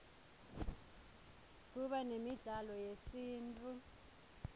kuba nemidlalo yesintfu